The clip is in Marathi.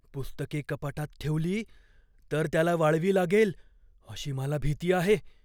पुस्तके कपाटात ठेवली तर त्याला वाळवी लागेल अशी मला भीती आहे.